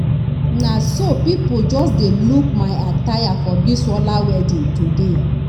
na so people just dey look my attire for bisola wedding today